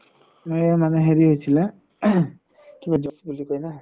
এই মানে হেৰি হৈছিলে throat কিবা জ্বৰ বুলি কয় না